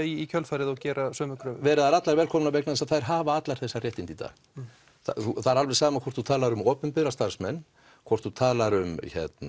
í kjölfarið og gera sömu kröfu veri þær allar velkomnar vegna þess að þær hafa allar þessi réttindi í dag það er alveg sama hvort þú talar um opinbera starfsmenn hvort þú talar um